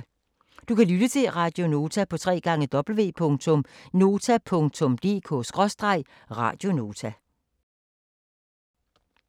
Du kan lytte til Radio Nota på www.nota.dk/radionota